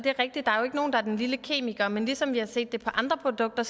nogen der er den lille kemiker men ligesom vi har set det på andre produkter